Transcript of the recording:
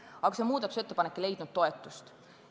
Aga see muudatusettepanek ei leidnud toetust.